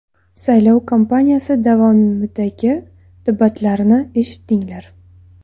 Saylov kampaniyasi davomidagi debatlarni eshitdinglar.